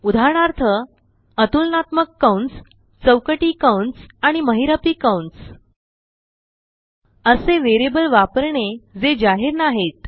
उदाहरणार्थ अतुलनात्मककंसचौकटी कंसआणिमहिरपी कंस असे वेरियबल वापरणेजे जाहीर नाहीत